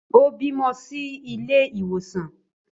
Ó bímọ sí ilé ìwòsàn